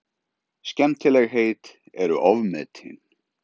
Skemmtilegheit eru ofmetin.